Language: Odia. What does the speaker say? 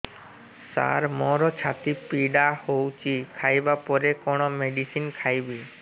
ସାର ମୋର ଛାତି ପୀଡା ହଉଚି ଖାଇବା ପରେ କଣ ମେଡିସିନ ଖାଇବି